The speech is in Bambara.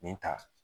Nin ta